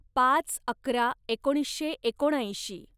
पाच अकरा एकोणीसशे एकोणऐंशी